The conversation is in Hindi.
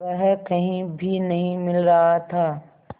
वह कहीं भी नहीं मिल रहा था